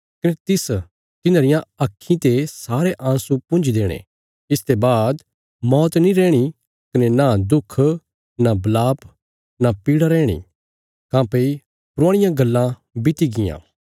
कने तिस तिन्हांरियां आक्खीं ते सारे आंसु पुंजी देणे इसते बाद मौत नीं रैहणी कने नां दुख नां वलाप नां पीड़ा रैहणी काँह्भई पुराणियां गल्लां बीती गियां